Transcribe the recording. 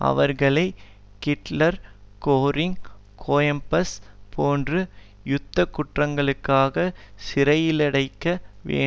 அவர்களை Hitler Goering Goebbels போன்று யுத்தகுற்றங்களுக்காக சிறையிலடைக்க வே